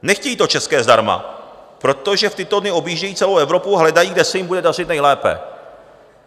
Nechtějí to české zdarma, protože v tyto dny objíždějí celou Evropu a hledají, kde se jim bude dařit nejlépe.